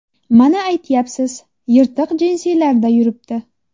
Mana aytyapsiz, yirtiq jinsilarda yuribdi.